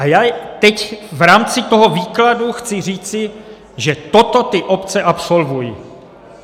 A já teď v rámci toho výkladu chci říci, že toto ty obce absolvují.